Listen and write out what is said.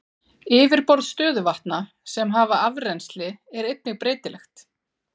Yfirborð stöðuvatna sem hafa afrennsli er einnig breytilegt.